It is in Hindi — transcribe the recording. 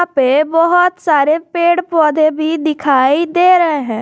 यहां पे बहुत सारे पेड़ पौधे भी दिखाई दे रहे हैं।